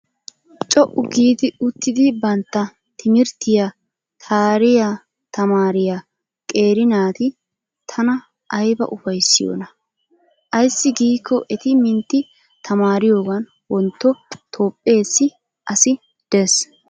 Co"u giidi uttidi bantta timirttiya taariyaa tamaariyaa qeeri naati tana ayiba ufayissiyoonaa. Aayssi giikko eti mintti tamaariyoogan wontto Toophpheessi asi des.